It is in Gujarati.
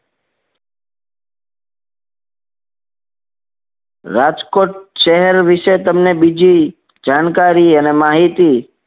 રાજકોટ શહેર વિશે તમને બીજી જાણકારી અને માહિતી